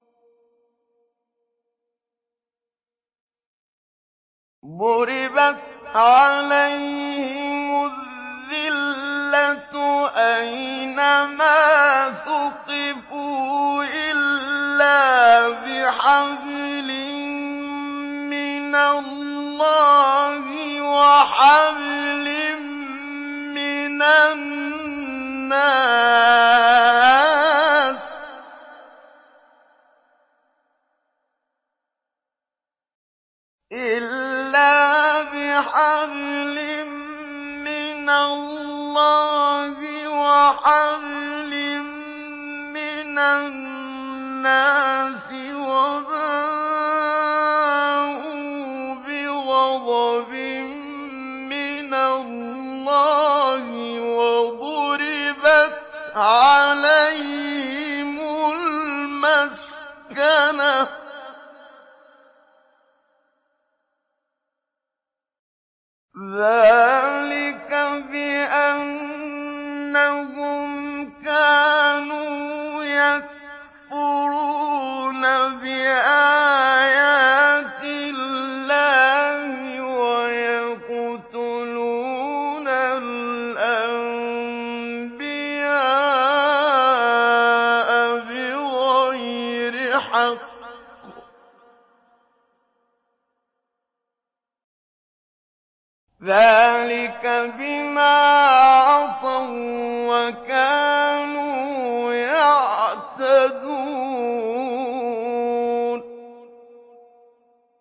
ضُرِبَتْ عَلَيْهِمُ الذِّلَّةُ أَيْنَ مَا ثُقِفُوا إِلَّا بِحَبْلٍ مِّنَ اللَّهِ وَحَبْلٍ مِّنَ النَّاسِ وَبَاءُوا بِغَضَبٍ مِّنَ اللَّهِ وَضُرِبَتْ عَلَيْهِمُ الْمَسْكَنَةُ ۚ ذَٰلِكَ بِأَنَّهُمْ كَانُوا يَكْفُرُونَ بِآيَاتِ اللَّهِ وَيَقْتُلُونَ الْأَنبِيَاءَ بِغَيْرِ حَقٍّ ۚ ذَٰلِكَ بِمَا عَصَوا وَّكَانُوا يَعْتَدُونَ